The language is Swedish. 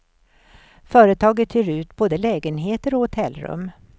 Företaget hyr ut både lägenheter och hotellrum.